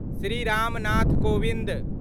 Shri Ram Nath Kovind